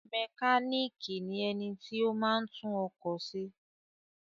Mékànìkì ni ẹni tí o máa ń tún ọkọ̀ se